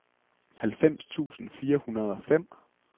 halvfems tusind fire hundrede og fem